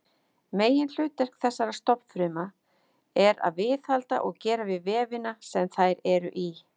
Meginhlutverk þessara stofnfrumna er að viðhalda og gera við vefina sem þær eru í.